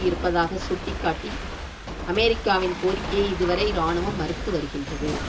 இருப்பதாக சுட்டி காட்டி அமெரிக்காவின் கோரிக்கையை இதுவரை இராணுவம் மறுத்து வருகின்றது